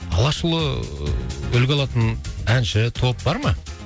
алашұлы үлгі алатын әнші топ бар ма